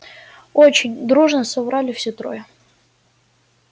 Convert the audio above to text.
очень дружно соврали все трое